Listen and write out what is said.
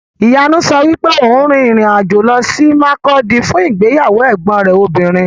Ìyanu sọ wípé òun rin ìrìn-àjò lọ sí Makurdi fún ìgbéyàwó ẹ̀gbọn rẹ̀ obìnrin.